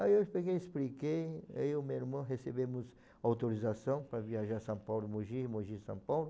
Aí eu peguei e expliquei, eu e o meu irmão recebemos autorização para viajar São Paulo Mogi, Mogi São Paulo.